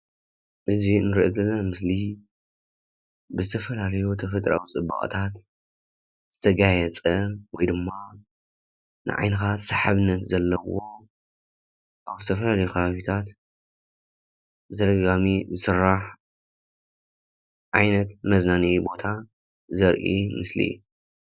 እዚ እንርእዮ ዘለና ምስሊ ብዝተፋላለዩ ተፈጥሮኣዊ ፅባቀታት ዝተጋየፀ ወይ ድማ ነዓይንኻ ሰሓበነት ዘለዎ ኣብ ዝተፋላለዩ ኸባቢታት ብተደጋጋሚ ዝስራሕ ዓይነት መዝናነይ ቦታ ዘርኢ ምስሊ እዩ፡፡